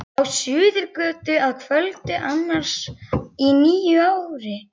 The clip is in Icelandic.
Á Suðurgötu að kvöldi annars í nýári.